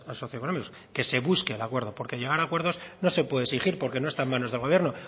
socioeconómicos que se busque el acuerdo porque llegar a acuerdos no se puede exigir porque no está en manos del gobierno